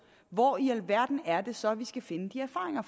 hvor i alverden er det så vi skal finde de erfaringer